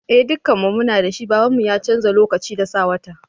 Eh dukan mu muna da shi, baban mu ya canza lokacin da sa wata.